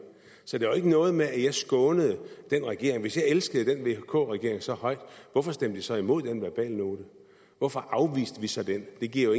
så det var jo ikke noget med at jeg skånede den regering hvis jeg elskede den vk regering så højt hvorfor stemte jeg så imod den verbalnote hvorfor afviste vi så den det giver jo